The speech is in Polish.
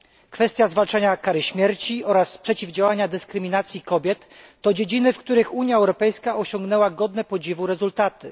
Kwestia zwalczania kary śmierci oraz przeciwdziałania dyskryminacji kobiet to dziedziny, w których Unia Europejska osiągnęła godne podziwu rezultaty.